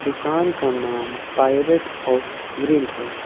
दुकान का नाम पाइरेट्स ऑफ ग्रिल है।